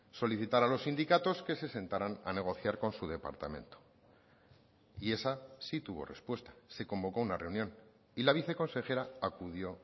solicitar a los sindicatos que se sentaran a negociar con su departamento y esa sí tuvo respuesta se convocó una reunión y la viceconsejera acudió